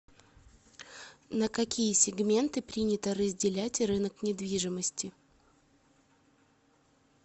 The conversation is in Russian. на какие сегменты принято разделять рынок недвижимости